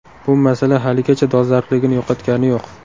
Bu masala haligacha dolzarbligini yo‘qotgani yo‘q.